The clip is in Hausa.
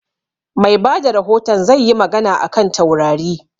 Mai bada rahoton zai yi magana a kan taurari